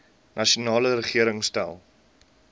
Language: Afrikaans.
nasionale regering stel